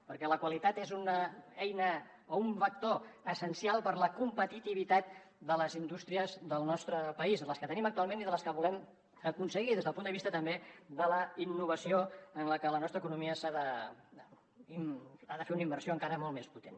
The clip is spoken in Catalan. perquè la qualitat és una eina o un vector essencial per a la competitivitat de les indústries del nostre país les que tenim actualment i les que volem aconseguir des del punt de vista també de la innovació en la que la nostra economia ha de fer una inversió encara molt més potent